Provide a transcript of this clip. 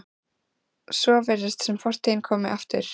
Svo virðist sem fortíðin komi aftur.